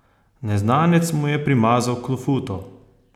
Neznanec mu je primazal klofuto!